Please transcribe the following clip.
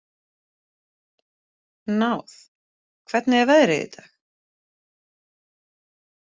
Náð, hvernig er veðrið í dag?